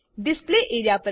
display A R E A